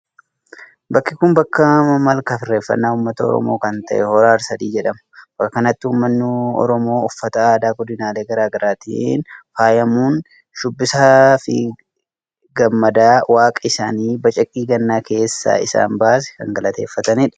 bakki kun bakka malkaafi irreeffannaa uummata oromoo kan ta'e hora harsadii jedhama. bakka kanatti uummanni oromoo uffata aadaa godinaalee garagaraatiin faayamuun sirbaa, shubbisaafi gammadaa waaqa isaanii bacaqii gannaa keessaa isaan baase kan galateeffatanidha.